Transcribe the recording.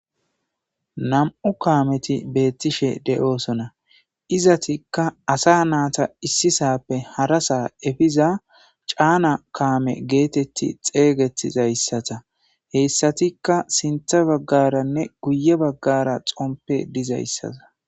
nam7u kaameti beettishe de7oosona izatikka asa naata issisappe harasa efiza caana kaame geetetti xeeygettizayssata heyssatikka sintha baggaranne guye baggara xompe dizayssata